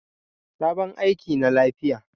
Sabon aiki na lafiya.